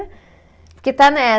Porque está né